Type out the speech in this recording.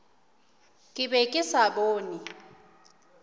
ke be ke sa bone